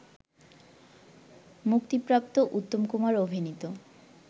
মুক্তিপ্রাপ্ত উত্তম কুমার অভিনীত